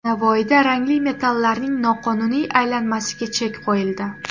Navoiyda rangli metallarning noqonuniy aylanmasiga chek qo‘yildi.